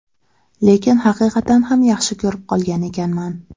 Lekin haqiqatan ham yaxshi ko‘rib qolgan ekanman.